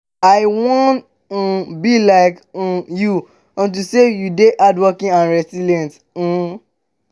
i wan um be like um you unto say you dey hardworking and resilient um